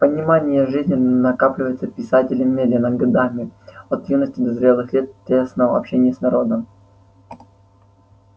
понимание жизни накапливается писателем медленно годами от юности до зрелых лет в тесном общении с народом